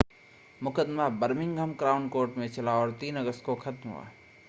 मुक़दमा Birmingham crown court में चला और 3 अगस्त को ख़त्म हुआ